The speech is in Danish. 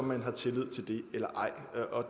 man har tillid til det eller ej og